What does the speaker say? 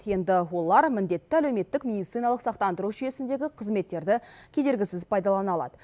енді олар міндетті әлеуметтік медициналық сақтандыру жүйесіндегі қызметтерді кедергісіз пайдалана алады